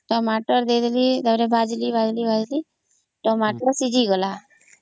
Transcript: Tomato ଦେଇଦେଲି ତା ପରେ ଭାଜିଲି ଭାଜିଲି ଟମାଟୋ ସିଝିଗଲା